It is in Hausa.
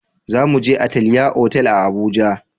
Za mu je Atelier otal a Abuja